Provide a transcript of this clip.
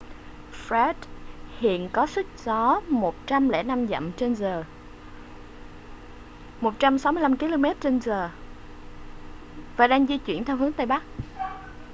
fred hiện có sức gió 105 dặm/giờ 165 km/h và đang di chuyển theo hướng tây bắc